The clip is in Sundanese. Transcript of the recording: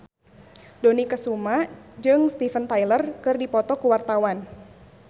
Dony Kesuma jeung Steven Tyler keur dipoto ku wartawan